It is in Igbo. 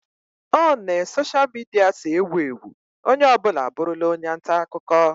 O ne soshia midia si ewu ewu, onye ọ bụla abụrụla onye nta akụkọ